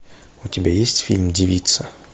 у тебя есть фильм девица